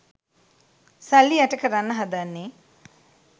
සල්ලි යට කරන්න හදන්නේ